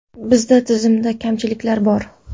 Bizda tizimda kamchiliklar bor.